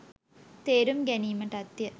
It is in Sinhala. තේරුම් ගැනීමටත්ය.